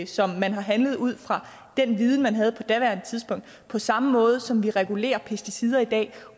som man har behandlet ud fra den viden man havde på daværende tidspunkt på samme måde som vi regulerer pesticider i dag